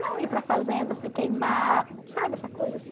Não ir para a fazenda se queimar, sabe essa coisa